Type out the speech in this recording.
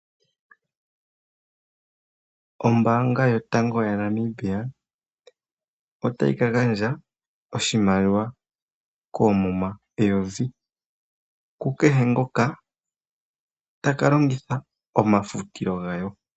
Ombaanga yotango ya Namibia otayi ka gandja oshimaliwa koomuma eyovi ku kehe ngoka taka longitha omafutilo gayo.